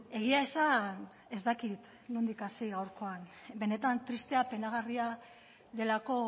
egia esan ez dakit nondik hasi gaurkoan benetan tristea eta penagarria delako